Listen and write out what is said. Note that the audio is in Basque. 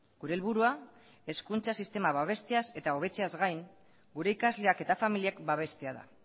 gure helburua hezkuntza sistema babesteaz eta hobetzeaz gain gure ikasleak eta familiak babestea da